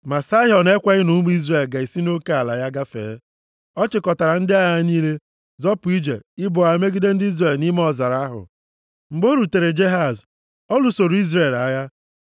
Ma Saịhọn ekweghị na ụmụ Izrel ga-esi nʼoke ala ya gafee. Ọ chịkọtara ndị agha ya niile, zọpụ ije ibu agha megide ndị Izrel nʼime ọzara ahụ. Mgbe o rutere Jehaz, ọ lụsoro Izrel agha.